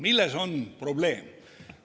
Milles on probleem?